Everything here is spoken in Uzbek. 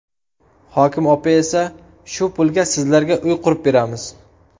Hokim opa esa ‘shu pulga sizlarga uy qurib beramiz.